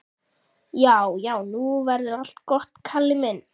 Já, já, nú verður allt gott, Kalli minn.